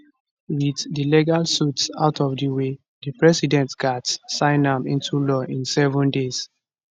wit di legal suits out of di way di president gatz sign am into law in seven days